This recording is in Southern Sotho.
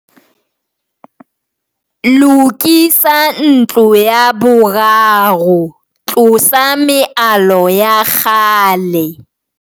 Lokisa ntlo ya boraro tlosa mealo ya kgale.